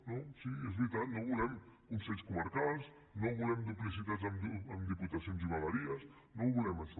no sí és veritat no volem consells comarcals no volem duplicitats amb diputacions i vegueries no volem això